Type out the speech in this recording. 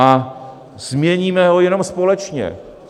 A změníme ho jenom společně.